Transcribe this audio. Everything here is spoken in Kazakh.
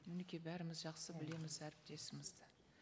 мінекей бәріміз жақсы білеміз әріптесімізді